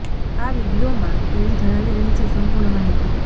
આ વિડીઓમાં તેણી જણાવી રહી છે સંપૂર્ણ માહિતી